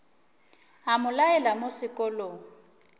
a mo laela mo sekolong